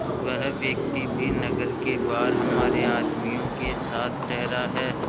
वह व्यक्ति भी नगर के बाहर हमारे आदमियों के साथ ठहरा है